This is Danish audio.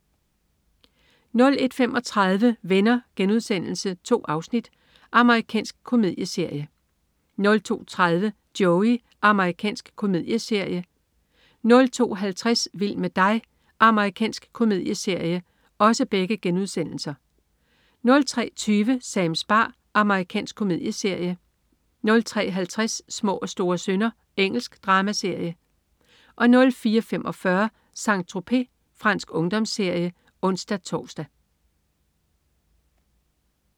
01.35 Venner.* 2 afsnit. Amerikansk komedieserie 02.30 Joey.* Amerikansk komedieserie 02.50 Vild med dig.* Amerikansk komedieserie 03.20 Sams bar. Amerikansk komedieserie 03.50 Små og store synder. Engelsk dramaserie 04.45 Saint-Tropez. Fransk ungdomsserie (ons-tors)